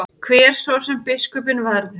Hver svo sem biskupinn verður.